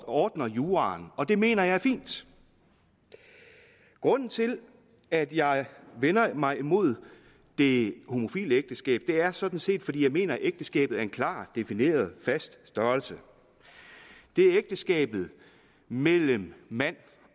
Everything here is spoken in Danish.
ordner juraen og det mener jeg er fint grunden til at jeg vender mig imod det homofile ægteskab er sådan set at jeg mener at ægteskabet er en klart defineret fast størrelse det er ægteskabet mellem mand